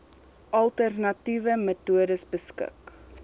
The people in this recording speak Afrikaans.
alternatiewe metodes beskik